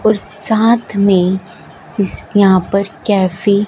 और साथ में इस के यहां पर कैफे --